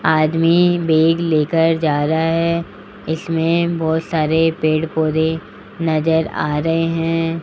आदमी बैग लेकर जा रहा है इसमें बहोत सारे पेड़ पौधे नजर आ रहे है।